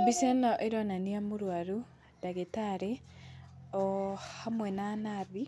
Mbica ĩno ĩronania mũrwaru, ndagĩtarĩ o hamwe na nathi,